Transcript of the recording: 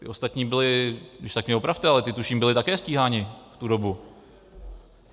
Ti ostatní byli, když tak mě opravte, ale ti tuším byli také stíháni v tu dobu.